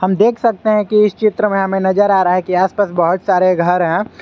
देख सकते हैं कि इस चित्र में हमें नजर आ रहा है कि आसपास बहुत सारे घर हैं।